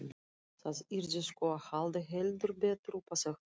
Það yrði sko að halda heldur betur upp á þetta!